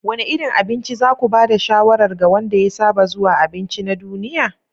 Wane irin abinci za ku ba da shawarar ga wanda ya saba zuwa abinci na duniya?